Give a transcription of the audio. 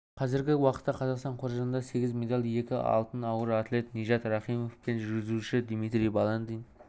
қазіргі уақытта қазақстан қоржынында сегіз медаль екі алтын ауыр атлет нижат рахимов пен жүзуші дмитрий баландин